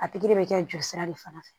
A tigi de bɛ kɛ jolisira de fana fɛ